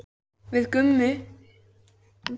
Við Gummi töluðum mikið saman í síma næstu daga.